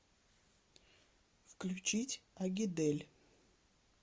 включить агидель